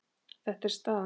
Þetta er staðan.